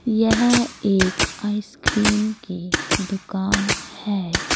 यह एक आइसक्रीम की दुकान है।